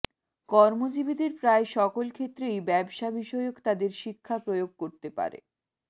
কর্মজীবীদের প্রায় সকল ক্ষেত্রেই ব্যবসা বিষয়ক তাদের শিক্ষা প্রয়োগ করতে পারে